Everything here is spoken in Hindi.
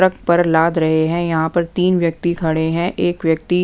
ट्रक पर लाद रहे हैं यहाँ पर तीन व्यक्ति खड़े हैं एक व्यक्ति--